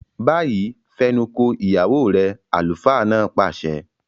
Báyìí, fẹnuko ìyàwó rẹ! àlùfáà náà pàṣẹ.